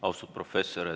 Austatud professor ...